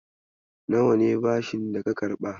Nawa ne bashin daka karɓa?